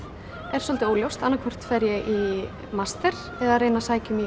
er svolítið óljóst annað hvort fer ég í master eða reyni að sækja um í